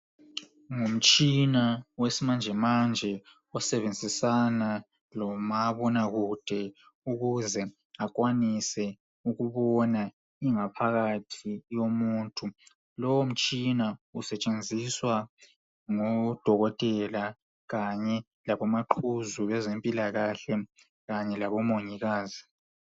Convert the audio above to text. Umtshina wesimanjemanje, osebenzisana lomabona kude ukuze akwanise ukubon aingaphathi yomuntu. Lomtshina usetshenziswa ngodokotela kanye labomaquzu bezemphilakahle kanye labo mongikazi.